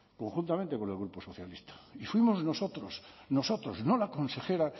conjuntamente con el grupo socialista y fuimos nosotros nosotros no la consejera